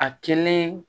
A kelen